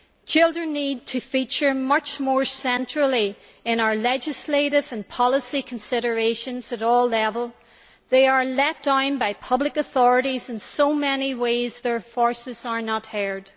Children need to feature much more centrally in our legislative and policy considerations at all levels they are let down by public authorities and in so many ways their voices are not heard.